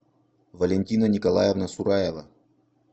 валентина николаевна сураева